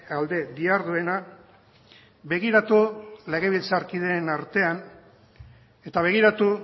alde diharduena begiratu legebiltzarkideen artean eta begiratu